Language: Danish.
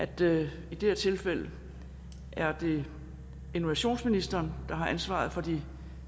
det her tilfælde er det innovationsministeren der har ansvaret for de